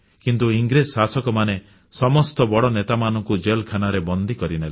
କିନ୍ତୁ ଇଂରେଜ ଶାସକମାନେ ସମସ୍ତ ବଡ଼ ନେତାମାନଙ୍କୁ ଜେଲଖାନାରେ ବନ୍ଦୀ କରିଦେଲେ